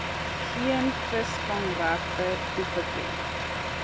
geen visvangregte toegeken